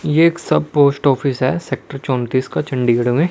ये एक सब पोस्ट ऑफिस है सेक्टर चौतीस का चंडीगढ़ में।